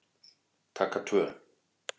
Taka tvö